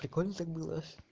прикольно так было